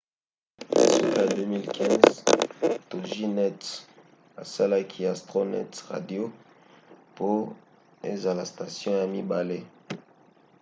na suka ya 2015 toginet asalaki astronet radio po ezala station ya mibale